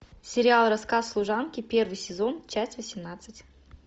сериал рассказ служанки первый сезон часть восемнадцать